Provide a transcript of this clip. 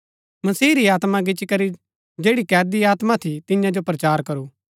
मसीह री आत्मा गिच्ची करी जैड़ी कैदी आत्मा थी तियां जो प्रचार करू